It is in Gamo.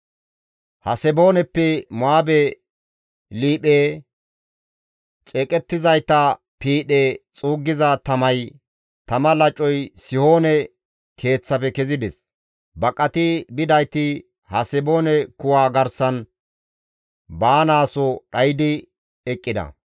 «Hasebooneppe Mo7aabe liiphe, ceeqettizayta piidhe xuuggiza tamay, tama lacoy Sihoone keeththafe kezides; baqati bidayti Haseboone kuwa garsan baanaaso dhaydi eqqida.